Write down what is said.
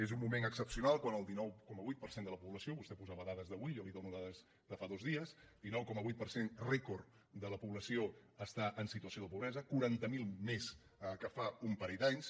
és un moment excepcional quan el dinou coma vuit per cent de la població vostè posava dades d’avui jo li dono dades de fa dos dies rècord de la població està en situació de pobresa quaranta miler més que fa un parell d’anys